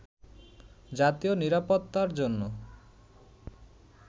জাতীয় নিরাপত্তার জন্য